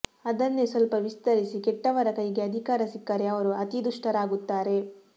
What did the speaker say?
ಅದನ್ನೇ ಸ್ವಲ್ಪ ವಿಸ್ತರಿಸಿ ಕೆಟ್ಟವರ ಕೈಗೆ ಅಧಿಕಾರ ಸಿಕ್ಕರೆ ಅವರು ಅತೀ ದುಷ್ಟರಾಗುತ್ತಾರೆ